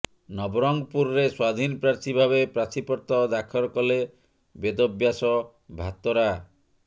ନବରଙ୍ଗପୁରରେ ସ୍ୱାଧୀନ ପ୍ରାର୍ଥୀ ଭାବେ ପ୍ରାର୍ଥିପତ୍ର ଦାଖଲ କଲେ ବେଦବ୍ୟାସ ଭାତରା